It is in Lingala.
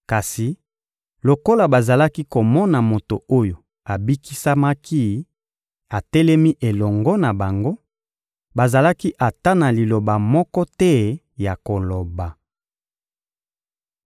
Kasi, lokola bazalaki komona moto oyo abikisamaki atelemi elongo na bango, bazalaki ata na liloba moko te ya koloba.